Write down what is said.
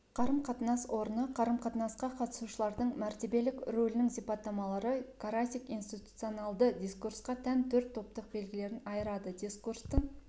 қарым-қатынас орны қарым-қатынасқа қатысушылардың мәртебелік рөлінің сипаттамалары карасик институционалды дискурсқа тән төрт топтық белгілерін айырады дискурстың